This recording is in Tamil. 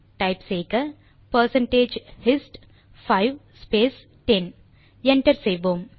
டைப் செய்க பெர்சென்டேஜ் ஹிஸ்ட் 5 ஸ்பேஸ் 10 என்டர் செய்வோம்